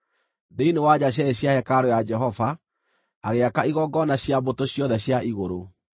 Thĩinĩ wa nja cierĩ cia hekarũ ya Jehova, agĩaka igongona cia mbũtũ ciothe cia igũrũ.